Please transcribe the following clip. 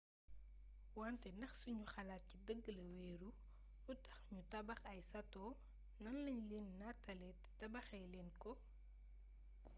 wante ndax sunu xalaat ci dëgg la wéeru lu tax nu tabax ay sato nan lañ leen nataale te tabaxee leen ko